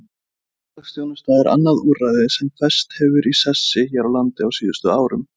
Samfélagsþjónusta er annað úrræði sem fest hefur í sessi hér á landi á síðustu árum.